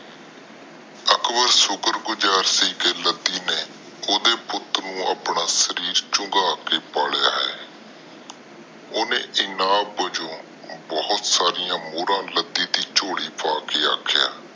ਅਕਬਰ ਸ਼ੁਕਰ ਗੁਜਰ ਸੀ ਕਿ ਲੱਦੀ ਨੇ ਓਹਦੇ ਪੁੱਤ ਨੂੰ ਆਪਣਾ ਸਰੀਰ ਚੁੰਗਾ ਕੇ ਪਾਲਿਆ ਹੈ। ਓਹਨੇ ਇਨਾਮ ਬਾਜੋ ਬਹੁਤ ਸਾਰੀਆਂ ਮੋਹਰਾ ਲੱਦੀ ਦੇ ਚੋਲ਼ੀ ਪਾ ਕੇ ਆਖਿਆ